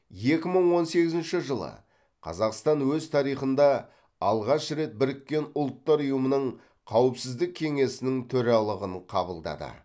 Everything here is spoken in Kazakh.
екі мың он сегізінші жылы қазақстан өз тарихында алғаш рет біріккен ұлттар ұйымының қауіпсіздік кеңесінің төралығын қабылдады